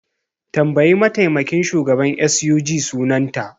Tambayi mataimakin shugaban SUG sunanta!